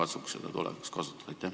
Me siis katsuks seda tulevikus kasutada.